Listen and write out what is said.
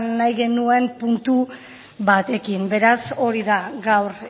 nahi genuen puntu batekin beraz hori da gaur